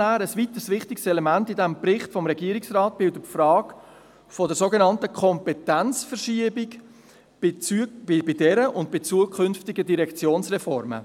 Ein weiteres wichtiges Element im Bericht des Regierungsrates bildet die Frage der sogenannten Kompetenzverschiebung bei dieser und bei zukünftigen Direktionsreformen.